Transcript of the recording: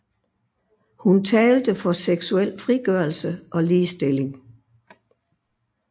Hun talte for seksuel frigørelse og ligestilling